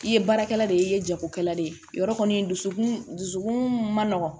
I ye baarakɛla de ye i ye jagokɛla de ye yɔrɔ kɔni dusukun dusukun man nɔgɔn